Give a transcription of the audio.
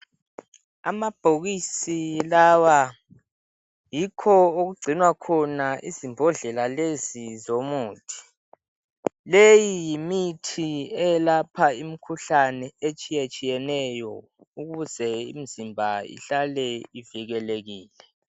Amabhokisi lawa yikho okugcinwa khona izimbodlela lezi zomuthi leyi yimithi eyelapha imikhuhlane etshiyatshiyeneyo ukuze imizimba ihlale ivelekekile